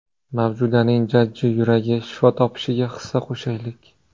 Mavjudaning jajji yuragi shifo topishiga hissa qo‘shaylik!